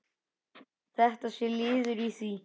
Þetta sé liður í því.